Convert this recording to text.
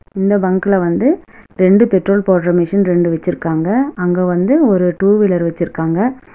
இந்த பங்க்குல வந்து ரெண்டு பெட்ரோல் போட்ற மிசின் ரெண்டு வச்சுருக்காங்க அங்க வந்து ஒரு டூ வீலர் வச்சுருக்காங்க.